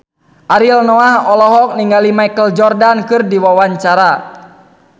Ariel Noah olohok ningali Michael Jordan keur diwawancara